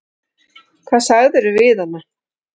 Hvað sagðirðu við hana?